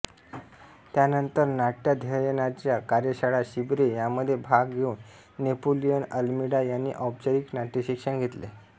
त्यानंतर नाट्याध्ययनाच्या कार्यशाळा शिबिरे यांमध्ये भाग घेऊन नेपोलियन अल्मीडा यांनी औपचारिक नाट्यशिक्षण घेतले